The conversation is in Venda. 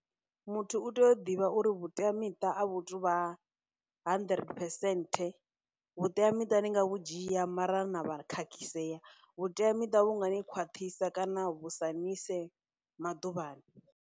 Muthu u tea u ḓivha uri vhuteamiṱa a vhu tu vha hundred percent, vhuteamiṱa ni nga vhu dzhia mara na vha khakhisea, vhuteamiṱa vhunga ni khwaṱhisa, kana vhu sa ni ise maḓuvhani.